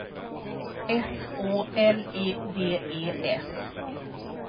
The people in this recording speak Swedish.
S Å L E D E S